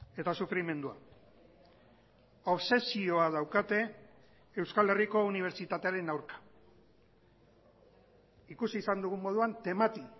eta sufrimendua obsesioa daukate euskal herriko unibertsitatearen aurka ikusi izan dugun moduan temati